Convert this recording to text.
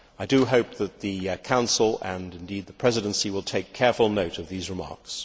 I do hope that the Council, and indeed the Presidency, will take careful note of these remarks.